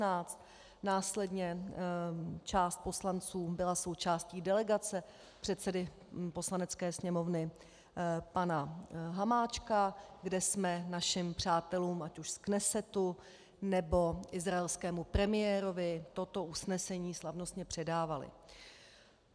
Následně část poslanců byla součástí delegace předsedy Poslanecké sněmovny pana Hamáčka, kde jsme našim přátelům ať už z Knesetu, nebo izraelskému premiérovi toto usnesení slavnostně předávali.